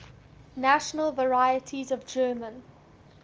national varieties of german